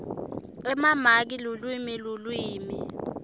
emamaki lulwimi lulwimi